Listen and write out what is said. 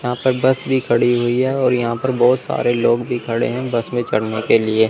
यहां पर बस भी खड़ी हुई है और यहां पर बहोत सारे लोग भी खड़े हैं बस पर चढ़ने के लिए--